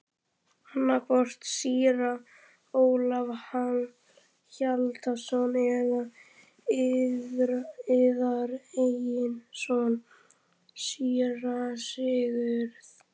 Annaðhvort síra Ólaf Hjaltason eða yðar eigin son, síra Sigurð.